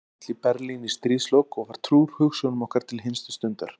Hann féll í Berlín í stríðslok og var trúr hugsjónum okkar til hinstu stundar.